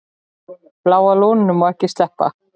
Bláa lóninu má ekki sleppa.